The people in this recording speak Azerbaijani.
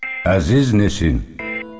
Əziz Nesin.